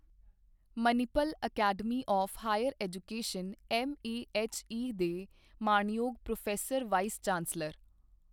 Manipal academy of higher education MAHE ਦੇ ਮਾਣਯੋਗ pro vice chancellor.